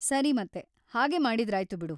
ಸರಿ ಮತ್ತೆ, ಹಾಗೇ ಮಾಡಿದ್ರಾಯ್ತು ಬಿಡು.